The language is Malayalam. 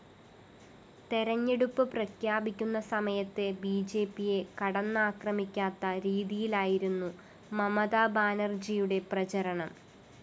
തെരഞ്ഞെടുപ്പ്‌ പ്രഖ്യാപിക്കുന്ന സമയത്ത്‌ ബിജെപിയെ കടന്നാക്രമിക്കാത്ത രീതിയിലായിരുന്നു മമതാബാനര്‍ജിയുടെ പ്രചാരണം